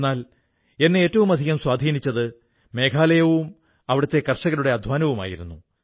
എന്നാൽ എന്നെ ഏറ്റവുമധികം സ്വാധീനിച്ചത് മേഘാലയയും അവിടത്തെ കർഷകരുടെ അധ്വാനവുമായിരുന്നു